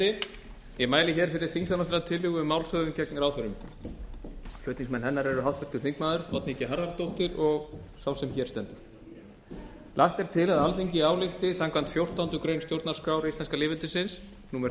forseti ég mæli hér fyrir þingsályktunartillögu um málshöfðun gegn ráðherrum flutningsmenn hennar eru háttvirtur þingmaður oddný g harðardóttir og sá sem hér stendur lagt er til að alþingi álykti samkvæmt fjórtándu grein stjórnarskrár íslenska lýðveldisins númer